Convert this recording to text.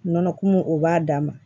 Nɔnɔ kumu o b'a dan ma